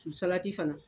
Salati fana